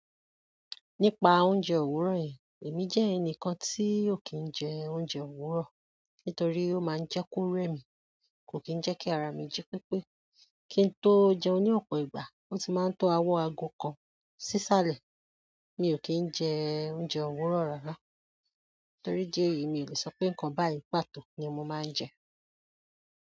Nípa oúnjẹ òwúrọ̀ yẹn, èmi jẹ́ ẹnìkan tí ó kì í jẹ oúnjẹ òwúrọ̀ nítorí ó máa ń jẹ ko rẹ̀ mí, kò kì jẹ́ kí ara mi jí pípé. Kí n tó jẹun ní ọ̀pọ̀ ìgbà, ó ti máa ń to owo ago kan sísàlẹ̀. Mi o kin je oúnjẹ òwúrọ̀ rara. Nítorí idi èyí mi ò le sọpé nǹkan báyí pàtó ni mo máa ń jẹ.